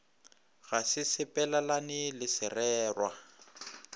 ga se sepelelane le sererwa